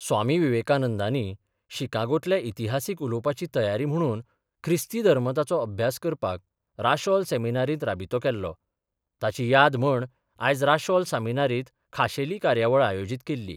स्वामी विवेकानंदानी शिकागोंतल्या इतिहासीक उलोवपाची तयारी म्हणून ख्रिस्ती धर्ममताचो अभ्यास करपाक राशेल सेमिनारीत राबितो केल्लो ताची याद म्हण आयज राशोल सेमिनारीत खाशेली कार्यावळ आयोजीत केल्ली.